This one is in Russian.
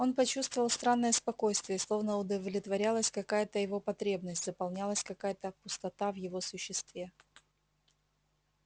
он почувствовал странное спокойствие словно удовлетворялась какая то его потребность заполнялась какая то пустота в его существе